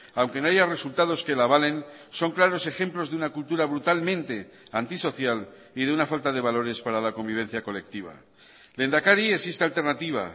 aunque no haya resultados que la avalen son claros ejemplos de una cultura brutalmente antisocial y de una falta de valores para la convivencia colectiva lehendakari existe alternativa